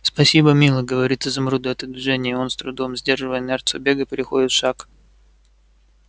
спасибо милый говорит изумруду это движение и он с трудом сдерживая инерцию бега переходит в шаг